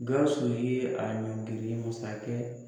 Gawusu ye a ɲɔnkiri masakɛ